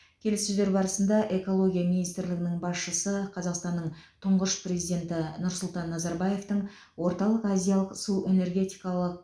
келіссөздер барысында экология министрлігінің басшысы қазақстанның тұңғыш президенті нұрсұлтан назарбаевтың орталық азиялық су энергетикалық